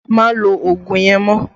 Má lo ogun yẹn mọ́!